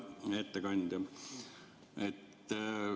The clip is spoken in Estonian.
Hea ettekandja!